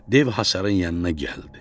Dev hasarın yanına gəldi.